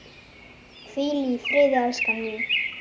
Hvíl í friði, elskan mín.